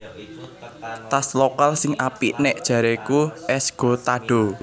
Tas lokal sing apik nek jareku Esgotado